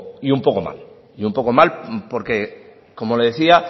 y un poco mal y un poco mal porque como le decía